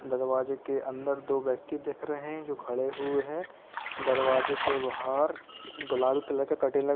दरवाजे के अंदर दो व्यक्ति दिख रहे हैं जो खड़े हुए हैं। दरवाजे के बाहर गुलाबी कलर का कर्टेन लगा --